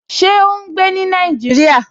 Ṣé ó n gbé ní Nàìjíríyà?